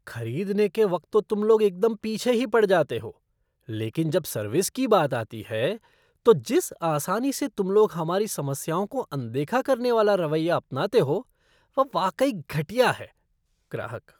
खरीदने के वक्त तो तुम लोग एकदम पीछे ही पड़ जाते हो, लेकिन जब सर्विस की बात आती है, तो जिस आसानी से तुम लोग हमारी समस्याओं को अनदेखा करने वाला रवैया अपनाते हो वह वाकई घटिया है। ग्राहक